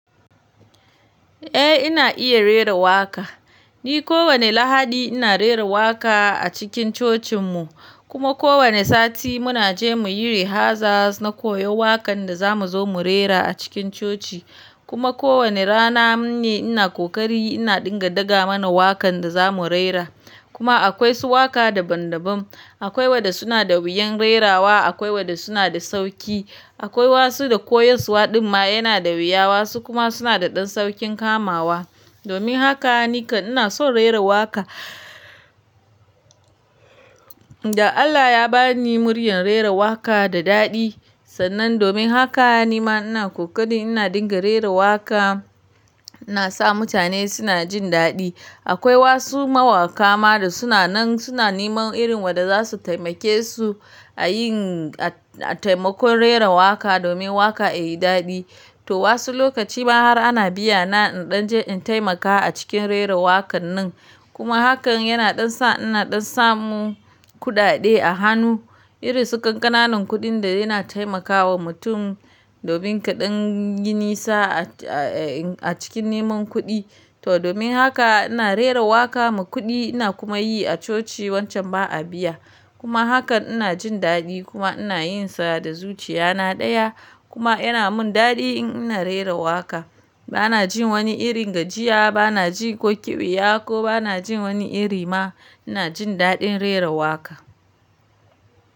Eh ina iya rera waƙa. Ni kowane Lahadi ina rera waƙa a cikin cocinmu. Kuma kowane sati muna je mu yi rehaza na koyo waƙan da za mu zo mu rera a cikin coci. Kuma kowane rana ne ina kokari ina dinga daga mana waƙan da za mu rera. Kuma akwai su waƙa daban-daban. Akwai waɗa suna da wuyan rerawa, akwai waɗa suna da sauƙi. Akwai wasu da koyaswa ɗin ma yana da wiyawa su kuma suna da ɗan sauƙin kamawa. Domin haka ni kan ina son rera waƙa. Da Allah ya ba ni muryar rera waƙa da daɗi. Sannan domin haka ni ma ina kokari ina dinga rera waƙa. Ina sa mutane suna jin daɗi. Akwai wasu mawaƙa ma da suna nan suna neman irin waɗa za su taimake su a yin a taimakon rera waƙa domin waƙa ya yi daɗi. To wasu lokaci ma har ana biya na in ɗan je in taimaka a cikin rera waƙan nan. Kuma hakan yana ɗan sa ina ɗan samu kuɗaɗe a hannu. Irin su ƙanƙananun kuɗin da yana taimakawa mutum, domin kaɗan yi ni sa a cikin neman kuɗi. To domin haka ina rera waƙa mu kuɗi ina kuma yi a coci wancan ba a biya. Kuma hakan ina jin daɗi kuma ina yin sa da zuciya na ɗaya. Kuma yana mun daɗi in ina rera waƙa. Bana jin wani irin gajiya, bana ji ko ƙiɓiya ko bana jin wani iri ma. Ina jin daɗin rera waƙa.